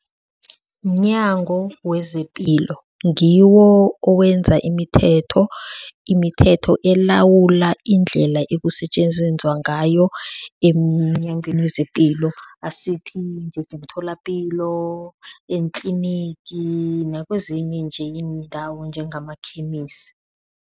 MNyango wezePilo, ngiwo owenza imithetho. Imithetho elawula indlela ekusetjenzenzwa ngayo emNyangweni wezePilo, asithi njengemtholapilo eentlinigi nakwezinye nje iindawo njengamakhemisi.